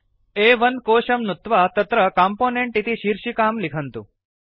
अ1 कोशं नुत्वा तत्र कम्पोनेन्ट् इति शीर्षिकां लिखन्तु